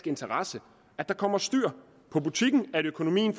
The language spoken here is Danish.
interesse at der kommer styr på butikken at økonomien